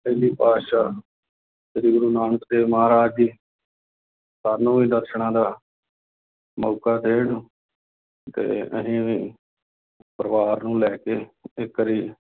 ਪਹਿਲੇ ਪਾਤਿਸ਼ਾਹ ਸ੍ਰੀ ਗੁਰੂ ਨਾਨਕ ਦੇਵ ਮਹਾਰਾਜ ਜੀ ਸਾਨੂੰ ਵੀ ਦਰਸਨਾਂ ਦਾ ਮੌਕਾ ਦੇਣ ਤੇ ਅਸੀਂ ਵੀ ਪਰਿਵਾਰ ਨੂੰ ਲੈ ਕੇ ਇੱਕ ਵਾਰੀ